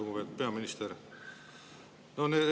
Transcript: Lugupeetud peaminister!